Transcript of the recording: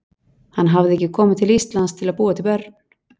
Hann hafði ekki komið til Íslands til að búa til börn.